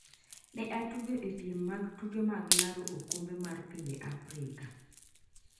ne otugo e piem mag tuke mag laro okombe mar pinje Afrika